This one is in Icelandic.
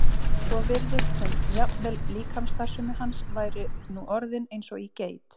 svo virtist sem jafnvel líkamsstarfsemi hans væri nú orðin eins og í geit.